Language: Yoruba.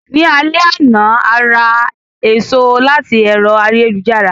Ní alé àná,a ra èso láti ẹ̀rọ ayélujára.